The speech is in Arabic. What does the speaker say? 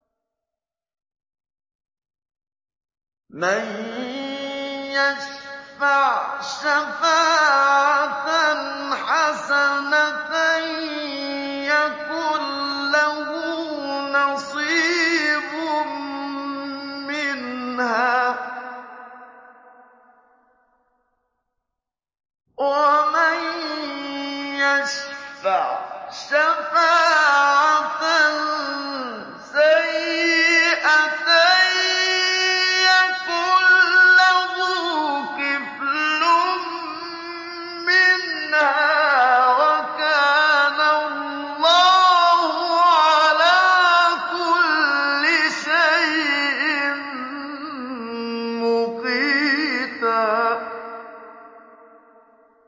مَّن يَشْفَعْ شَفَاعَةً حَسَنَةً يَكُن لَّهُ نَصِيبٌ مِّنْهَا ۖ وَمَن يَشْفَعْ شَفَاعَةً سَيِّئَةً يَكُن لَّهُ كِفْلٌ مِّنْهَا ۗ وَكَانَ اللَّهُ عَلَىٰ كُلِّ شَيْءٍ مُّقِيتًا